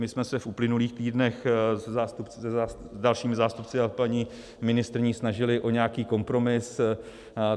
My jsme se v uplynulých týdnech s dalšími zástupci a paní ministryní snažili o nějaký kompromis.